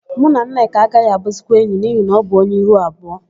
Mụ na Nneka agaghị abụzikwa enyi n'ihi na ọ bụ onye ihu abụọ.